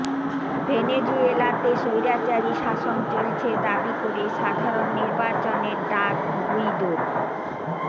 ভেনেজুয়েলাতে স্বৈরাচারী শাসন চলছে দাবি করে সাধারণ নির্বাচনের ডাক গুইদোর